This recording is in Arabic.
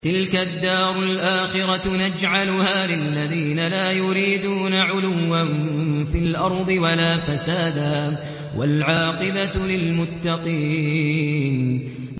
تِلْكَ الدَّارُ الْآخِرَةُ نَجْعَلُهَا لِلَّذِينَ لَا يُرِيدُونَ عُلُوًّا فِي الْأَرْضِ وَلَا فَسَادًا ۚ وَالْعَاقِبَةُ لِلْمُتَّقِينَ